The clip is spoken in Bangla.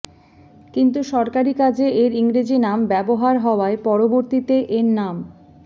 কিন্তু সরকারি কাজে এর ইংরেজি নাম ব্যবহার হওয়ায় পরবর্তীতে এর নাম